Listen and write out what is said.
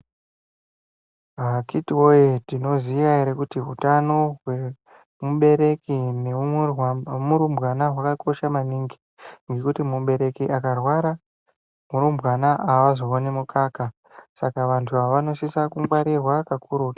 Akiti woye tinoziya ere kuti utano hwemubereki nemurumbwana hwakakosha maningi ngekuti mubereki akarwara murumbwana hazooni mukaka saka vanhu ava vanosisa kungwarirwa kakurutu...